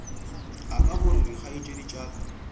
aka gore dikgaetšedi tša ka